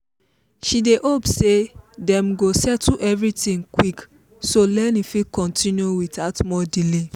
she dey hope say dem go settle everything quick so learning fit continue without more delay.